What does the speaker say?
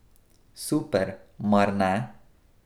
Super, mar ne?